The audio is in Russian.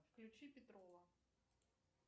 включи петрова